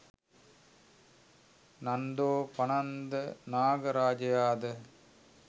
නන්දෝපනන්ද නාග රාජයා ද